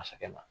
Masakɛ ma